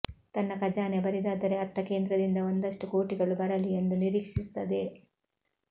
ತನ್ನ ಖಜಾನೆ ಬರಿದಾದರೆ ಅತ್ತ ಕೇಂದ್ರದಿಂದ ಒಂದಷ್ಟು ಕೋಟಿಗಳು ಬರಲಿ ಎಂದು ನಿರೀಕ್ಷಿಸುತ್ತದೆ